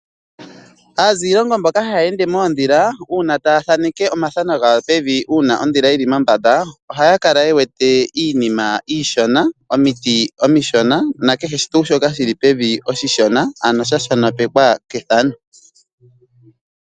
Aaziilongo mboka haya ende moondhila, uuna taya thaneke omathano gawo pevi, uuna oondhila yili mombanda ohaya kala ye wete iinima iishona, omiti omishona nakehe tuu shoka shili pevi oshishona ano shashonopekwa kethano.